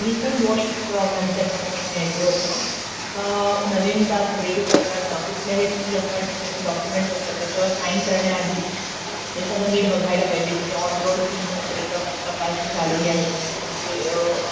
त्यामध्ये showroom cost किती आहे, किती त्याच्यामध्ये विमा जोडलेला आहे. इन्श्युरन्स जोडलेला आहे का नाही. ऍक्सेसरीज आपले, जसे तू म्हणला आता तसचं नोंदणी शुल्क हे सगळं, त्याच्या वॉरंटी not clear